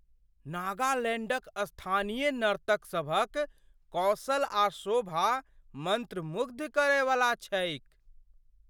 नागालैंडक स्थानीय नर्तक सभक कौशल आ शोभा मंत्रमुग्ध करयवला छैक।